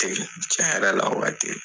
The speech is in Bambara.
o waati.